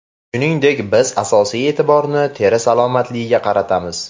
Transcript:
Shuningdek, biz asosiy e’tiborni teri salomatligiga qaratamiz.